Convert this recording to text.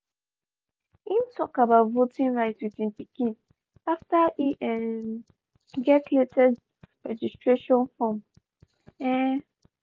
im tok about voting rights with im pikin after e um get latest registration form. um